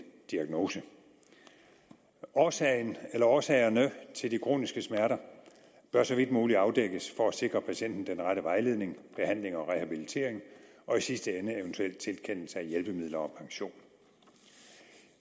diagnose årsagen eller årsagerne til de kroniske smerter bør så vidt muligt afdækkes for at sikre patienten den rette vejledning behandling og rehabilitering og i sidste ende eventuel tilkendelse af hjælpemidler og pension